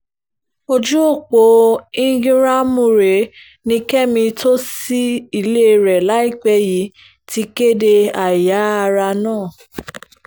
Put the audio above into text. ojú ọ̀pọ̀ íńgíráàmù rẹ̀ ni kẹ́mi tó ṣí ilé rẹ̀ láìpẹ́ yìí ti kéde àìyá ara náà